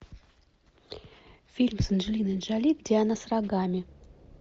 фильм с анджелиной джоли где она с рогами